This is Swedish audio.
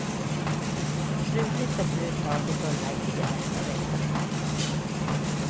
Slutligt beslut tas i fullmäktige nästa vecka.